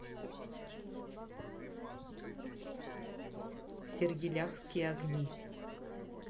сергеляхские огни